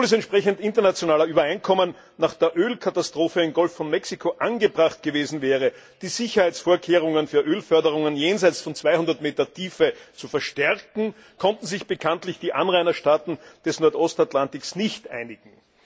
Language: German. Obwohl es entsprechend internationaler Übereinkommen nach der Ölkatastrophe im Golf von Mexiko angebracht gewesen wäre, die Sicherheitsvorkehrungen für Ölförderungen jenseits von 200 m Tiefe zu verstärken, konnten sich bekanntlich die Anrainerstaaten des Nordostatlantiks nicht einigen.